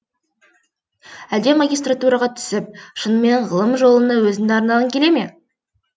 әлде магистратураға түсіп шынымен ғылым жолына өзіңді арнағың келе ме